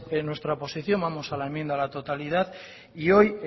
nuestra posición vamos a la enmienda a la totalidad y hoy